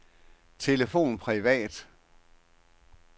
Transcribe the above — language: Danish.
telefon privat